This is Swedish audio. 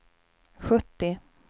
sjuttio